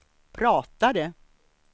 pratade